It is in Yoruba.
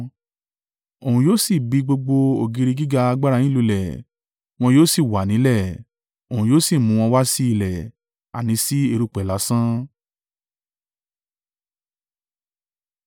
Òun yóò sì bi gbogbo ògiri gíga alágbára yín lulẹ̀ wọn yóò sì wà nílẹ̀, Òun yóò sì mú wọn wá si ilẹ̀, àní sí erùpẹ̀ lásán.